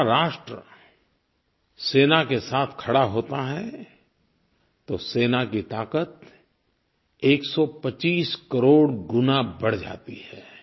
जब सारा राष्ट्र सेना के साथ खड़ा होता है तो सेना की ताक़त 125 करोड़ गुना बढ़ जाती है